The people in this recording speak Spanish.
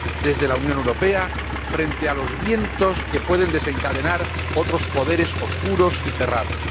desde la Unión Europea frente a los vientos que pueden desencadenar otros poderes oscuros y cerrados.